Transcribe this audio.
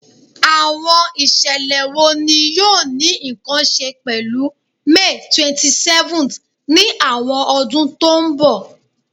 Awọn iṣẹlẹ wo ni yoo ni nkan ṣe pẹlu May 27th ni awọn ọdun to nbọ?